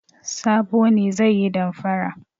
Sabo ne zai yi damfara.